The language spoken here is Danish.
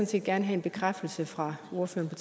set gerne have en bekræftelse fra ordføreren